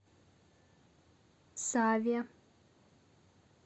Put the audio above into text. саве